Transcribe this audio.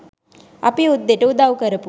අපේ යුද්දෙට උදව් කරපු